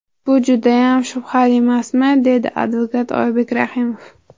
Bu judayam shubhalimasmi?”, deydi advokat Oybek Rahimov.